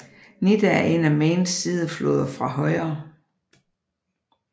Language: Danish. Nidda er en af Mains sidefloder fra højre